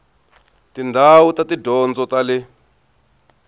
tindhawu ta tidyondzo ta le